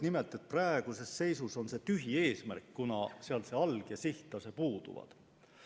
Nimelt, praeguses seisus on see eesmärk tühi, kuna seal alg- ja sihttase puuduvad.